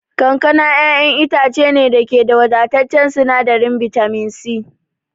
Kankana ƴaƴan itace ne da ke da wadataccen sinadarin bitamin C.